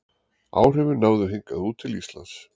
Áhrifin náðu hingað út til Íslands.